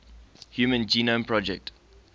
human genome project